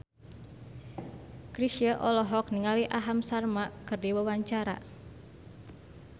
Chrisye olohok ningali Aham Sharma keur diwawancara